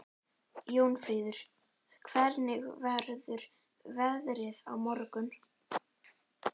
Jónfríður, hvernig verður veðrið á morgun?